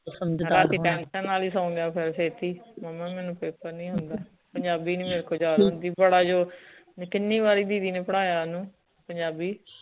ਨਾਲੇ ਸੋਗਯਾ ਫੇਰ ਛੇਤੀ ਮੁਮਾ ਮੈਨੂੰ ਪੇਪਰ ਨੀ ਆਉਂਦਾ ਪੰਜਾਬੀ ਨੀ ਮੇਰੇ ਕੋਲ ਯਾਦ ਹੁੰਦੀ ਬੜਾ ਜ਼ੋਰ ਕੀਨੀ ਵਾਰੀ ਦੀਦੀ ਨੇ ਪੜਾਯਾ ਓਨੂੰ ਪੰਜਾਬੀ